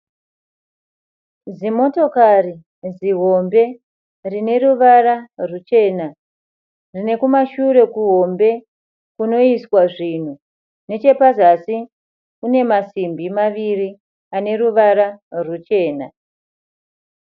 Zimotokari zihombe rineruvara rwuchena. Rinekumashure kuhombe kunoiswa zvinhu. Nechepazasi kunemasimbi maviri aneruvara rwuchena.